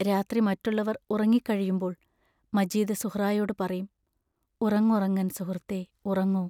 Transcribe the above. രാത്രി മറ്റുള്ളവർ ഉറങ്ങിക്കഴിയുമ്പോൾ മജീദ് സുഹ്റായോടു പറയും: ഉറങ്ങുറങ്ങൻ സുഹൃത്തേ ഉറങ്ങു!